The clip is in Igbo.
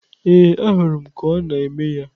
Ee, ahụrụ m ka ọ na-eme ya.